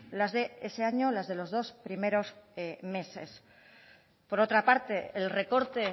las de ese año la de los dos primeros meses por otra parte el recorte